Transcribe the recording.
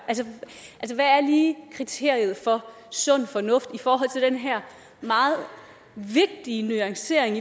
lige kriteriet for sund fornuft i forhold til den her meget vigtige nuancering